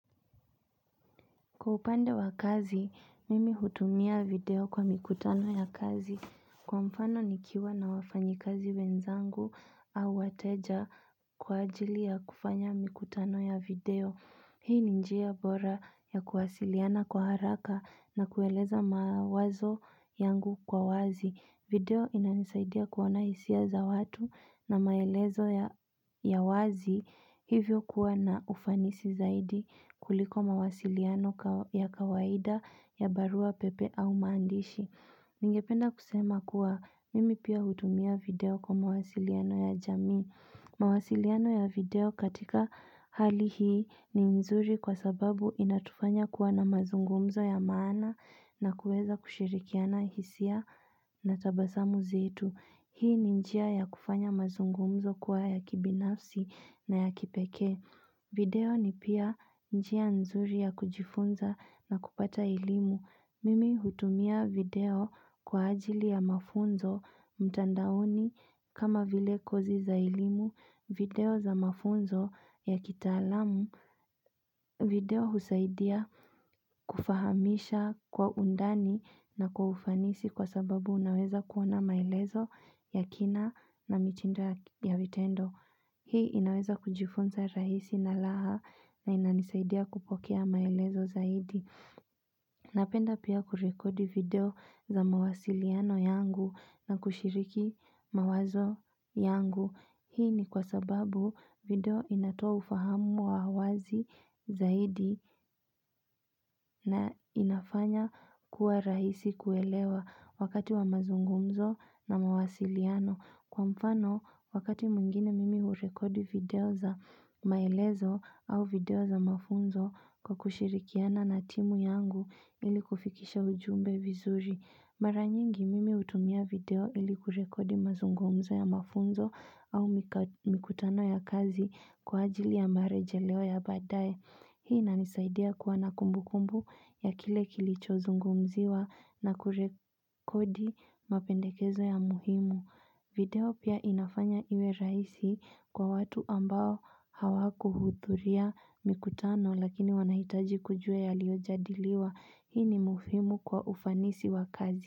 Kwa upande wa kazi, mimi hutumia video kwa mikutano ya kazi. Kwa mfano ni kiwa na wafanyi kazi benzangu au wateja kwa ajili ya kufanya mikutano ya video. Hii ni njia bora ya kuwasiliana kwa haraka na kueleza mawazo yangu kwa wazi. Video inanisaidia kuona hisia za watu na maelezo ya wazi hivyo kuwa na ufanisi zaidi kuliko mawasiliano ya kawaida ya barua pepe au maandishi. Ningependa kusema kuwa mimi pia hutumia video kwa mawasiliano ya jami. Mawasiliano ya video katika hali hii ni nzuri kwa sababu inatufanya kuwa na mazungumzo ya maana na kueza kushirikiana hisia na tabasamu zetu Hii ni njia ya kufanya mazungumzo kuwa ya kibinafsi na ya kipekee video ni pia njia nzuri ya kujifunza na kupata elimu Mimi hutumia video kwa ajili ya mafunzo mtandaoni kama vile kozi za elimu video za mafunzo ya kitaalamu video husaidia kufahamisha kwa undani na kwa ufanisi kwa sababu unaweza kuona maelezo ya kina na mitindo ya vitendo. Hii inaweza kujifunza raisi na laha na inanisaidia kupokea maelezo zaidi. Napenda pia kurekodi video za mawasiliano yangu na kushiriki mawazo yangu. Hii ni kwa sababu video inatoa ufahamu wa wazi zaidi na inafanya kuwa raisi kuelewa wakati wa mazungumzo na mawasiliano. Kwa mfano, wakati mwingine mimi urekodi video za maelezo au video za mafunzo kwa kushirikiana na timu yangu ili kufikisha ujumbe vizuri. Mara nyingi mimi utumia video ili kurekodi mazungumzo ya mafunzo au mikutano ya kazi kwa ajili ya marejeleo ya badae. Hii inanisaidia kuwa na kumbukumbu ya kile kilicho zungumziwa na kurekodi mapendekezo ya muhimu. Video pia inafanya iwe raisi kwa watu ambao hawakuhuthuria mikutano lakini wanahitaji kujua yaliojadiliwa hii ni muhimu kwa ufanisi wa kazi.